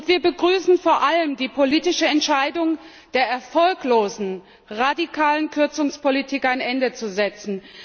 Wir begrüßen vor allem die politische Entscheidung, der erfolglosen radikalen Kürzungspolitik ein Ende zu setzen.